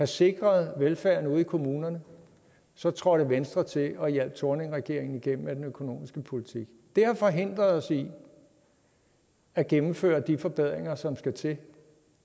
sikret velfærden ude i kommunerne så trådte venstre til og hjalp thorningregeringen igennem med den økonomiske politik det har forhindret os i at gennemføre de forbedringer som skal til